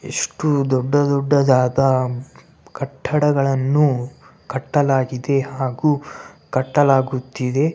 ಎಷ್ಟು ದೊಡ್ಡ ದೊಡ್ಡದಾದ ಕಟ್ಟಡಗಳನ್ನು ಕಟ್ಟಲಾಗಿದೆ ಹಾಗು ಕಟ್ಟಡ --